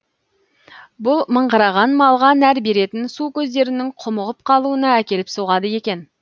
бұл мыңғырған малға нәр беретін су көздерінің құмығып қалуына әкеліп соғады екен